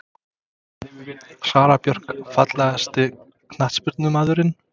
Sara Björk Fallegasti knattspyrnumaðurinn?